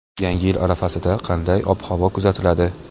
Yangi yil arafasida qanday ob-havo kuzatiladi?.